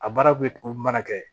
A baara bɛ mana kɛ